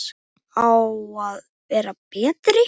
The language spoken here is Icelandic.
Á að vera betri.